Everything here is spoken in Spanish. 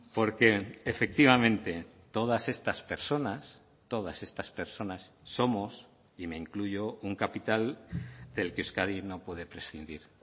porque efectivamente todas estas personas todas estas personas somos y me incluyo un capital del que euskadi no puede prescindir